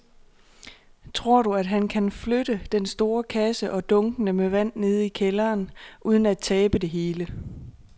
Tror du, at han kan flytte den store kasse og dunkene med vand ned i kælderen uden at tabe det hele?